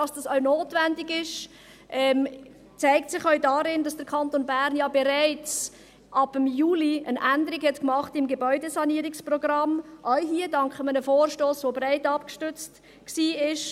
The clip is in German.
Dass es notwendig ist, zeigt sich auch darin, dass der Kanton Bern bereits ab Juli eine Änderung beim Gebäudesanierungsprogramm vorgenommen hat, auch dank eines breit abgestützten Vorstosses.